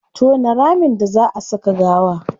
Tona ramin da zaa a saka gawa